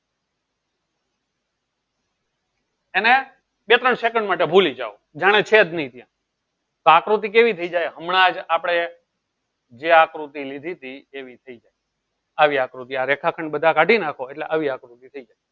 એને બે ત્રણ second માટે ભૂલી જાઉં જેનેજ છે જ નહી ત્યાં આકૃતિ કેવી થઇ જાય હમણાં આપળે જે આકૃતિ લીધી હતી એવી થઇ જાય આવી આકૃતિ આ રેખા ખંડ બધા કાળી નાખો એટલે આવી આકૃતિ થઇ જાય